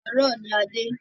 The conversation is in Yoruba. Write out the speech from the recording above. Àárọ̀ ní a dé.